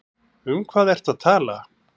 Um hvað ertu að tala?